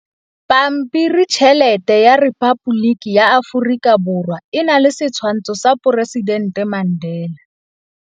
Pampiritšheletê ya Repaboliki ya Aforika Borwa e na le setshwantshô sa poresitentê Mandela.